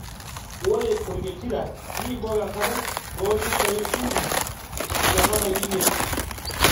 Ore orketira nibok enkare too mitai uni ometabaiki imiet